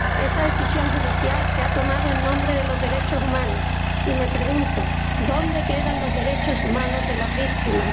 Esa decisión judicial se ha tomado en nombre de los derechos humanos y me pregunto ¿dónde quedan los derechos humanos de las víctimas?